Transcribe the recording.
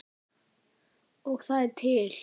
Og það er til!